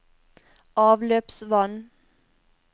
avløpsvann